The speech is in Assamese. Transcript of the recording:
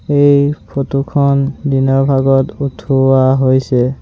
এই ফটো খন দিনৰ ভাগত উঠোৱা হৈছে।